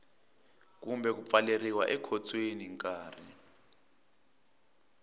kumbe ku pfaleriwa ekhotsweni nkarhi